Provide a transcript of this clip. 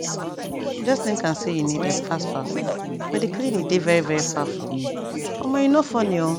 just think am say u need epp fast fast but d cliniydey veri veri far from u omo e no funny o